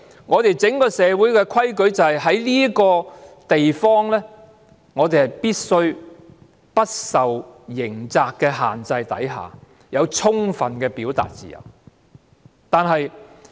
我們整個社會的規矩就是在這個地方，我們必須在不受刑責的限制下，有充分的表達自由。